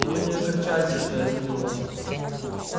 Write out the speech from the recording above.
но вы не огорчайтесь что я сменил вас